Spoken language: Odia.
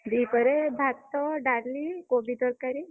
ଦିପହରେ ଭାତ ଡାଲି କୋବି ତରକାରୀ।